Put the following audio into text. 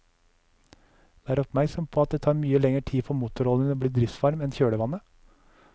Vær oppmerksom på at det tar mye lenger tid for motoroljen å bli driftsvarm enn kjølevannet.